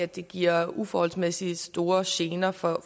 det giver uforholdsmæssig store gener for